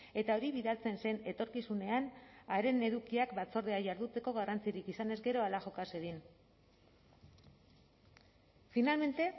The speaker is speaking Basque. eta hori bidaltzen zen etorkizunean haren edukiak batzordea jarduteko garrantzirik izanez gero hala joka zedin finalmente